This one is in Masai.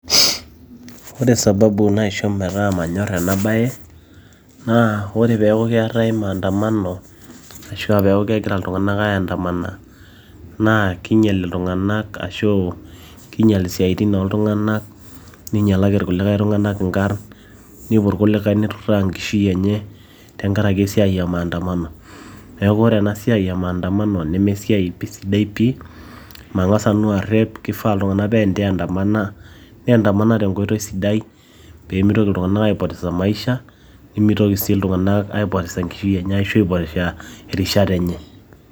ore sababu naisho metaa manyorr ena baye naa ore peeku keetay maandamano ashua peeku kegira iltung'anak aeandamana naa kinyial iltung'anak ashu kinyial isiaitin oltung'anak ninyialaki kulikae tung'anaka inkarrn nepuo irkulikae niturra enkishui enye tenkarake esiai e maandamano neeku ore ena siai e maandamano nemesiai pi sidai pi mang'as nanu arreep kifaa iltung'anak pee eneandamana neandamana tenkoitoi sidai peemitoki iltung'anak aipotesa maisha nemitoki sii iltung'anak aipotesa enkishui enye ashu aipotesha erishata enye.